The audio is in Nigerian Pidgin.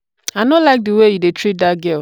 i no like the way you dey treat dat girl.